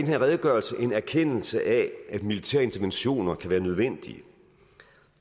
her redegørelse en erkendelse af at militære interventioner kan være nødvendige